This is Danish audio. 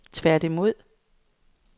tværtimod